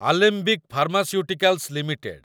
Alembic pharmaceuticals limited